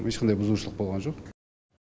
ешқандай бұзушылық болған жоқ